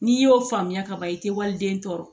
N'i y'o faamuya kaban i tɛ waliden tɔ